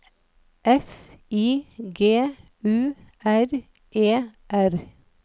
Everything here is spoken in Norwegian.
F I G U R E R